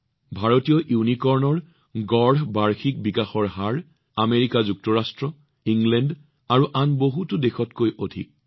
ভাৰতীয় ইউনিকৰ্নৰ গড় বাৰ্ষিক বিকাশৰ হাৰ আমেৰিকা যুক্তৰাজ্য ব্ৰিটেইন আৰু আন বহুতো দেশতকৈ অধিক